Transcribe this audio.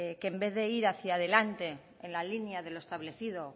que en vez de ir hacia delante en la línea de los establecido